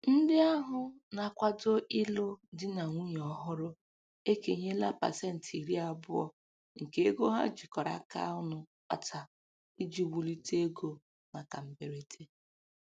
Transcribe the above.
Ndị ahụ na-akwado ilụ di na nwunye ọhụrụ ekenyela pasentị iri abụọ nke ego ha jikọrọ aka ọnụ kpata iji wulite ego maka mberede.